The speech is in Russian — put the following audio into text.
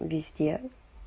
везде